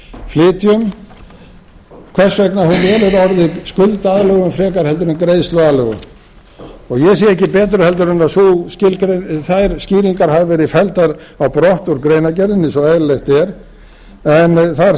flytjum hvers vegna hún velur orðið skuldaaðlögun frekar heldur en greiðsluaðlögun ég sé ekki betur heldur en að þær skýringar hafi verið felldar á brott úr greinargerðinni eins og eðlilegt er en þar